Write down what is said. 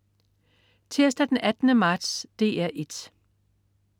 Tirsdag den 18. marts - DR 1: